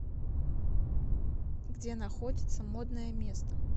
где находится модное место